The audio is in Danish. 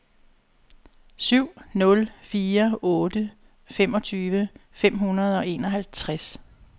syv nul fire otte femogtyve fem hundrede og enoghalvtreds